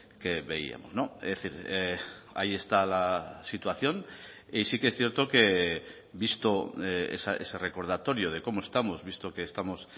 que veíamos es decir ahí está la situación y sí que es cierto que visto ese recordatorio de cómo estamos visto que estamos